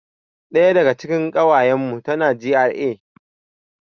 Ɗaya daga cikin ƙawayan mu tana GRA